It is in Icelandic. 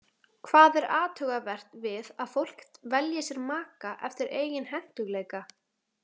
Hvað er athugavert við að fólk velji sér maka eftir eigin hentugleika?